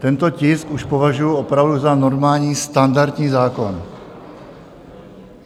Tento tisk už považuju opravdu za normální standardní zákon.